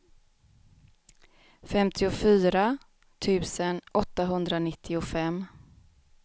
femtiofyra tusen åttahundranittiofem